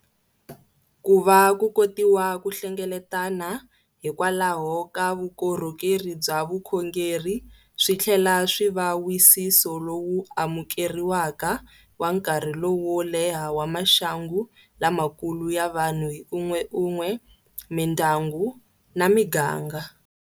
Ku va ku kotiwa ku hlengeletana hikwalaho ka vukorhokeri bya vukhongeri swi tlhela swi va wisiso lowu amukeriwaka wa nkarhi lowo leha wa maxangu lamakulu ya vanhu hi un'weun'we, mindyangu na miganga.